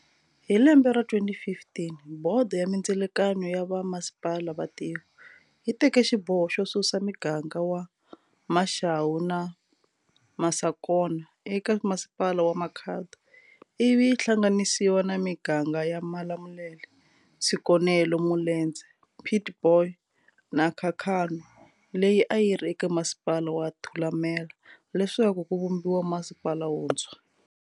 Hi lembe ra 2015, bodo ya mindzelekano ya va masipala va tiko, yi teke xiboho xo susa miganga wa Mashau na Masakona eka masipala wa Makhado, ivi yi hlanganisiwa na miganga ya Malamulele, Tshikonelo, Mulenzhe, Pietboy, na Khakhanwa leyi ayiri eka masipala wa Thulamela leswaku ku vumbiwa masipala wuntshwa.